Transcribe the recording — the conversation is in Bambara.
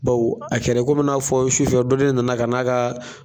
Bawo a kɛra komi n'a fɔ sufɛ dɔ de nana ka na ka